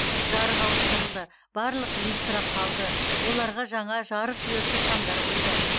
жарық ауыстырылды барлық люстра қалды оларға жаңа жарықдиодты шамдар қойды